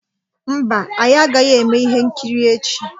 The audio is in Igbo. Mba, anyị agaghị eme ihe nkiri echi